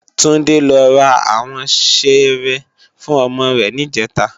Tunde lò rá áwòn ṣéré fún òmò rè nijètá